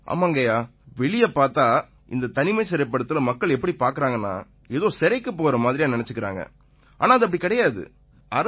ஆமாய்யா வெளிய பார்த்தா இந்தத் தனிமைப் படுத்தலை மக்கள் எப்படி பார்க்கறாங்கன்னா ஏதோ சிறைக்குப் போகறா மாதிரியா நினைச்சுக்கறாங்க ஆனா இது அப்படி கிடையாது